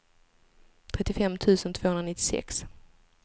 trettiofem tusen tvåhundranittiosex